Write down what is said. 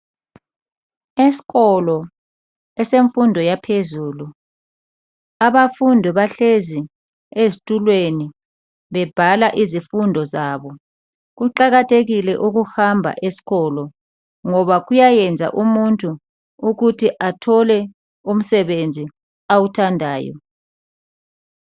Esikolo esemfundo yaphezulu abafundi bahlezi ezitulweni bebhala izifundo zabo. Kuqakathekile ukuhamba esikolo ngoba kuyayenza umuntu ukuthi athole umsebenzi awuthandayo.